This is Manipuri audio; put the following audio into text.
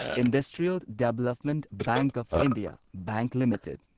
industrial development bank of India bank limited